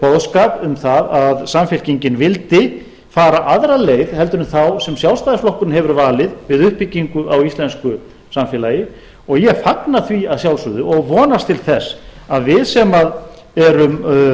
boðskap um það að samfylkingin vildi fara aðra leið heldur en þá sem sjálfstæðisflokkurinn hefur valið við uppbyggingu á íslensku samfélagi og ég fagna því að sjálfsögðu og vonast til þess að við sem erum